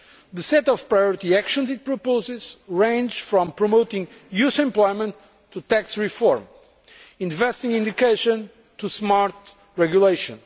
The set of priority actions it proposes ranges from promoting youth employment to tax reform, from investing in education to smart regulation.